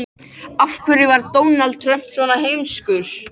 Hann var bæði myndarlegur og traustur.